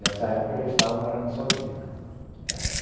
Nessa época eu já estava morando sozinho, né.